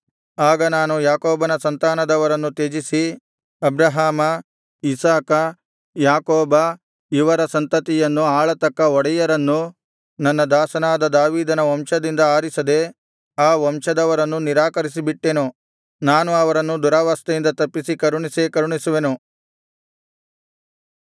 ಆಗ ನಾನು ಯಾಕೋಬನ ಸಂತಾನದವರನ್ನು ತ್ಯಜಿಸಿ ಅಬ್ರಹಾಮ ಇಸಾಕ ಯಾಕೋಬ ಇವರ ಸಂತತಿಯನ್ನು ಆಳತಕ್ಕ ಒಡೆಯರನ್ನು ನನ್ನ ದಾಸನಾದ ದಾವೀದನ ವಂಶದಿಂದ ಆರಿಸದೆ ಆ ವಂಶದವರನ್ನು ನಿರಾಕರಿಸಿಬಿಟ್ಟೆನು ನಾನು ಅವರನ್ನು ದುರವಸ್ಥೆಯಿಂದ ತಪ್ಪಿಸಿ ಕರುಣಿಸೇ ಕರುಣಿಸುವೆನು